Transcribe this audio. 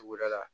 Tuguda la